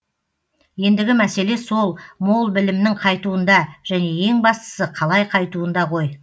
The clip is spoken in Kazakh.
ендігі мәселе сол мол білімнің қайтуында және ең бастысы қалай қайтуында ғой